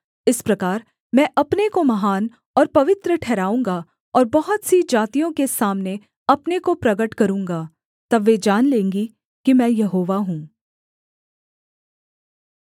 इस प्रकार मैं अपने को महान और पवित्र ठहराऊँगा और बहुत सी जातियों के सामने अपने को प्रगट करूँगा तब वे जान लेंगी कि मैं यहोवा हूँ